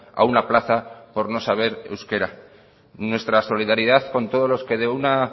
a una plaza por no saber euskera nuestra solidaridad con todos los que de una